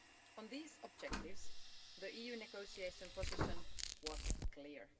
On these objectives the EU negotiation position was clear.